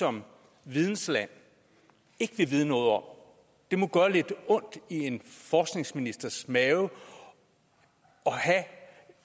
som vidensland ikke vil vide noget om det må gøre lidt ondt i en forskningsministers mave at have